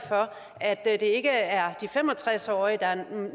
at det ikke er de fem og tres årige der